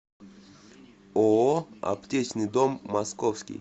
ооо аптечный дом московский